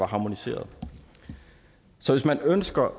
harmoniseret så hvis man ønsker